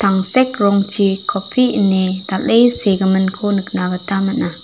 tangsek rongchi kopi ien dal·e segimin ko nikna gita man·a.